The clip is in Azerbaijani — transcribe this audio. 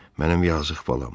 Mənim yazıq balam.